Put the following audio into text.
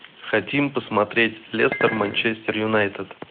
хотим посмотреть лестер манчестер юнайтед